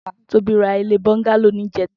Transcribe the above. Tobi rà ilé bọngàló nijètá